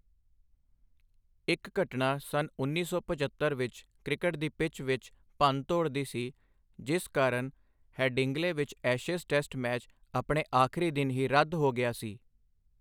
ਇੱਕ ਘਟਨਾ ਸੰਨ ਉੱਨੀ ਸੌ ਪਝੱਤਰ ਵਿੱਚ ਕ੍ਰਿਕਟ ਦੀ ਪਿੱਚ ਵਿੱਚ ਭੰਨਤੋੜ ਦੀ ਸੀ, ਜਿਸ ਕਾਰਨ ਹੈਡਿੰਗਲੇ ਵਿੱਚ ਐਸ਼ੇਜ਼ ਟੈਸਟ ਮੈਚ ਆਪਣੇ ਆਖਰੀ ਦਿਨ ਹੀ ਰੱਦ ਹੋ ਗਿਆ ਸੀ।